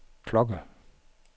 klokke